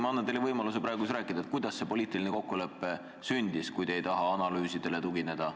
Ma annan teile võimaluse praegu rääkida, kuidas see poliitiline kokkulepe sündis, kui te ei taha analüüsidele tugineda.